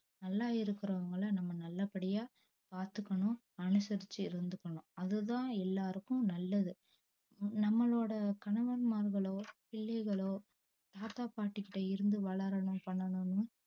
நல்லா இருக்குறவங்கள நம்ம நல்லபடியா பாத்துக்கணும் அனுசரிச்சி இருந்துக்கணும் அது தான் எல்லாருக்கும் நல்லது நம்பளோட கணவன்மார்களோ பிள்ளைகளோ தாத்தா பாட்டிக்கிட்ட இருந்து வளரனும் பண்ணனும்